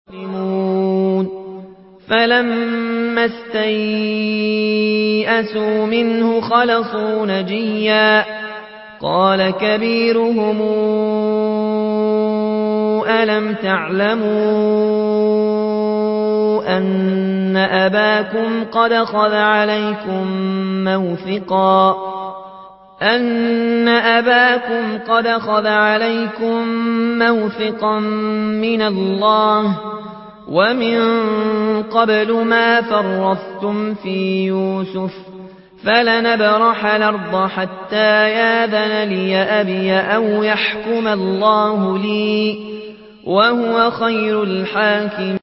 فَلَمَّا اسْتَيْأَسُوا مِنْهُ خَلَصُوا نَجِيًّا ۖ قَالَ كَبِيرُهُمْ أَلَمْ تَعْلَمُوا أَنَّ أَبَاكُمْ قَدْ أَخَذَ عَلَيْكُم مَّوْثِقًا مِّنَ اللَّهِ وَمِن قَبْلُ مَا فَرَّطتُمْ فِي يُوسُفَ ۖ فَلَنْ أَبْرَحَ الْأَرْضَ حَتَّىٰ يَأْذَنَ لِي أَبِي أَوْ يَحْكُمَ اللَّهُ لِي ۖ وَهُوَ خَيْرُ الْحَاكِمِينَ